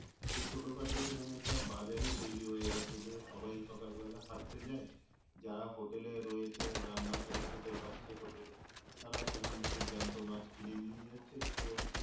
তো ছোটখাটো সেখানে একটা বাজারি তৈরি হয়ে গেছে। যে সবাই সকালবেলায় হাঁটতে যাই যারা হোটেলে রয়েছে রান্না করে খেতে পারছে হোটেলে। তারা সেখান থেকে জ্যান্ত মাছ কিনে নিয়ে যাচ্ছে তো,